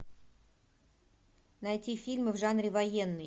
найти фильмы в жанре военный